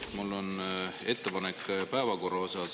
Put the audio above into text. Tegelikult on mul ettepanek päevakorra kohta.